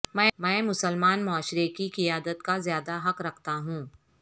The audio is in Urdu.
میں مسلمان معاشرے کی قیادت کا زیادہ حق رکھتا ہوں